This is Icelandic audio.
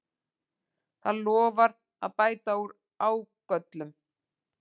Það lofar að bæta úr ágöllum